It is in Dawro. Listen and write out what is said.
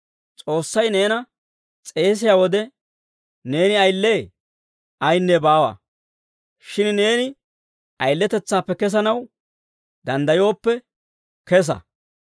S'oossay neena s'eesiyaa wode neeni ayile? Ayinne baawa; shin neeni ayiletetsaappe kesanaw danddayooppe kesa.